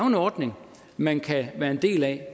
en ordning man kan være en del af